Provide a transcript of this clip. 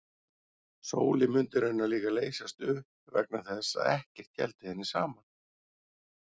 Sólin mundi raunar líka leysast upp vegna þess að ekkert héldi henni saman.